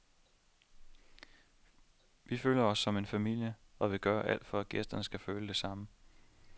Vi føler os som en familie, og vil gøre alt for at gæsterne skal føle det samme.